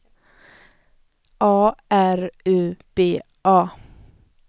A R U B A